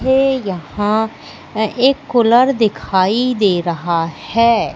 ये यहां अह एक कूलर दिखाई दे रहा है।